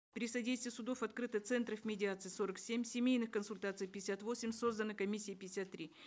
при содействии судов открыто центров медиации сорок семь семейных консультаций пятьдесят восемь создано комиссий пятьдесят три